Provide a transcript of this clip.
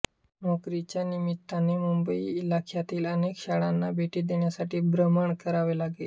नोकरीच्या निमित्ताने मुंबई इलाख्यातील अनेक शाळांना भेटी देण्यासाठी भ्रमण करावे लागे